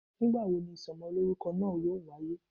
ngbawo ní isómolorúkó naa yọọ wayé?